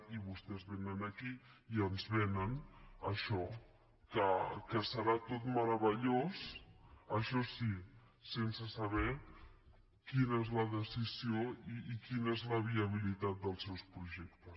i vostès vénen aquí i ens venen això que serà tot meravellós això sí sense saber quina és la decisió i quina és la viabilitat dels seus projectes